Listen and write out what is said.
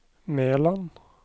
Meland